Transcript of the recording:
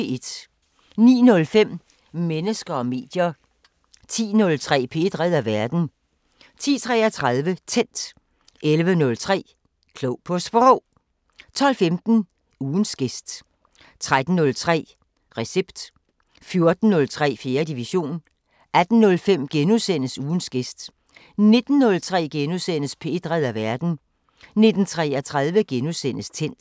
09:05: Mennesker og medier 10:03: P1 redder verden 10:33: Tændt 11:03: Klog på Sprog 12:15: Ugens gæst 13:03: Recept 14:03: 4. division 18:05: Ugens gæst * 19:03: P1 redder verden * 19:33: Tændt *